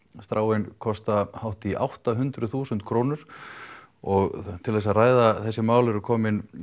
stráin kosta hátt í átta hundruð þúsund krónur og til að ræða þessi mál eru komnar